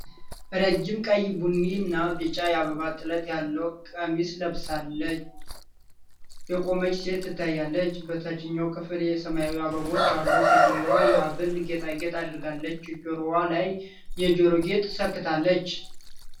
ረጅም ቀይ ቡኒ እና ቢጫ የአበባ ጥለት ያለው ቀሚስ ለብሳ የቆመች ሴት ትታያለች። በታችኛው ክፍል ሰማያዊ አበቦች አሉ። ሴትየዋ የሐብል ጌጣጌጥ አድርጋ ጆሮዋ ላይ የጆሮ ጌጥ ሰክታለች።